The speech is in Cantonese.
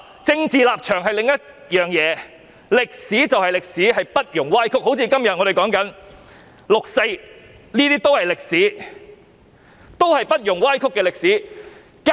政治立場是另一回事，歷史就是歷史，不容歪曲，正如我們今天談論的六四是不容歪曲的歷史。